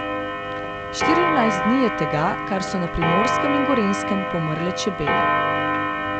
Štirinajst dni je tega, kar so na Primorskem in Gorenjskem pomrle čebele.